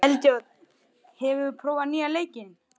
Eldjárn, hefur þú prófað nýja leikinn?